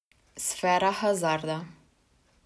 Sfera hazarda.